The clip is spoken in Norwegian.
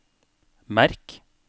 merk